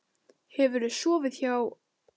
Hefurðu sofið hjá?